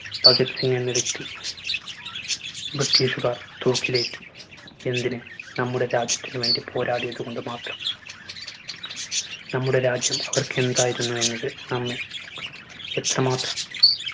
ഭഗത് സിംഗ് എന്ന വ്യക്തി british കാർ തൂക്കിലേറ്റി. എന്തിന്? നമ്മുടെ രാജ്യത്തിന് വേണ്ടി പോരാടിയതുകൊണ്ട് മാത്രം. നമ്മുടെ രാജ്യം അവർക്ക് എന്തായിരുന്നുവെന്നത് നമ്മെ എത്രമാത്രം